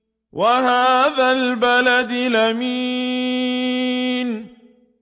وَهَٰذَا الْبَلَدِ الْأَمِينِ